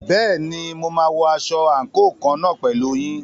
Bẹ́ẹ̀ni, mo máa wọ aṣọ àǹkóò kan náà pẹ̀lú yín.